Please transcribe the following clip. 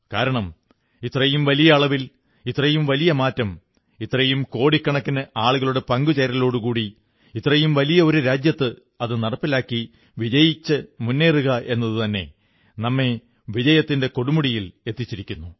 കാരണം ഇത്രയും വലിയ അളവിൽ ഇത്രയും വലിയ മാറ്റം ഇത്രയും കോടിക്കണക്കിന് ആളുകളുടെ പങ്കുചേരലോടുകൂടി ഇത്രയും വലിയ ഒരു രാജ്യത്ത് അതു നടപ്പിലാക്കി വിജയകരമായി മുേന്നറുക എന്നതുതന്നെ നമ്മെ വിജയത്തിന്റെ കൊടുമുടിയിലെത്തിച്ചിരിക്കുന്നു